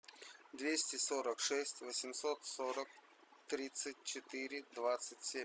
двести сорок шесть восемьсот сорок тридцать четыре двадцать семь